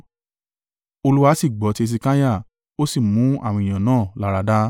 Olúwa sì gbọ́ ti Hesekiah, ó sì mú àwọn ènìyàn náà láradá.